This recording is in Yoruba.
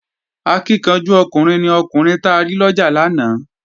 Akíkanjú ọkùnrin ni ọkùnrin ta rí lọ́jà lánàá